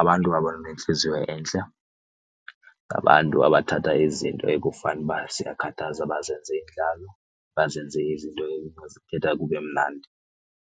abantu abanentliziyo entle. Ngabantu abathatha izinto ekufanuba ziyakhathaza bazenze iindlalo, bazenze izinto abazithetha kube mnandi.